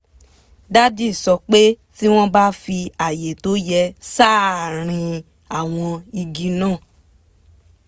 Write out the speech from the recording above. dádì sọ pé tí wọ́n bá fi àyè tó yẹ sáàárín àwọn igi náà